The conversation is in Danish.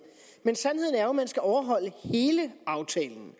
men sandheden er jo at man skal overholde hele aftalen